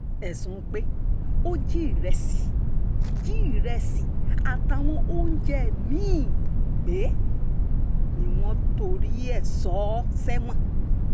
ẹ̀sùn pé ó jí ìrẹsì jí ìrẹsì àtàwọn oúnjẹ mí-ín gbé ni wọ́n torí ẹ̀ sọ ọ́ sẹ́wọ̀n